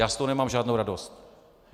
Já z toho nemám žádnou radost.